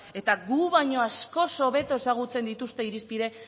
eta gu baino askoz hobeto ezagutzen dituzte